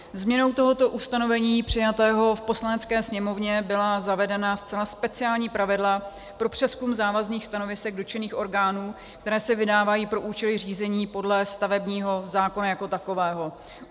Změnou tohoto ustanovení přijatého v Poslanecké sněmovně byla zavedena zcela speciální pravidla pro přezkum závazných stanovisek dotčených orgánů, která se vydávají pro účely řízení podle stavebního zákona jako takového.